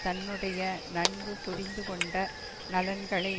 தன்னுடைய நன்கு புரிந்து கொண்ட நலன்களை